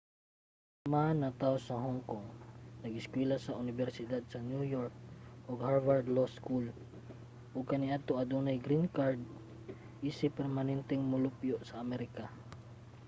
si ma natawo sa hong kong nag-eskuwela sa unibersidad sa new york ug sa harvard law school ug kaniadto adunay green card isip permanenteng molupyo sa amerika